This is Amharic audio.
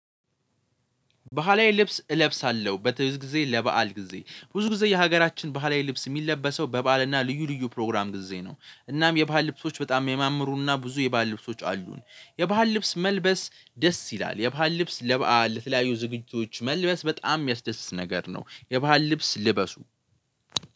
ባህላዊ ልብስ እለብሳለሁ በትውልድ ጊዜ ለባአል ጊዜ ብዙ ጊዜ የሀገራችን ባህላዊ ልብስ የሚለበሰው በባአልና ልዩ ልዩ ፕሮግራም ጊዜ ነው። እናም የባህል ልብሶች በጣም የሚያምሩና ብዙ የባህል ልብሶች አሉን። የባህል ልብስ መልበስ ደስ ይላል የባህል ልብስ ለበአል ለተለያዩ ዝግጅቶች መልበስ በጣም የሚያስደስት ነገር ነው። የባህል ልብስ ልበሱ